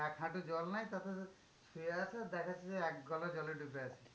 এক হাঁটু জল নাই তাতে শুয়ে আছে দেখাচ্ছে যে এক গলা জলে ডুবে আছি।